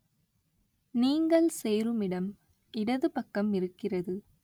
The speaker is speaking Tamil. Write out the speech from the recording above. நீங்கள் சேருமிடம் இடது பக்கம் இருக்கிறது.